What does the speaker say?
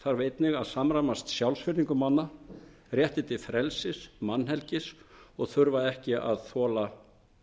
þarf einnig að samræmast sjálfsvirðingu manna rétti til frelsis mannhelgi og að þurfa ekki að þola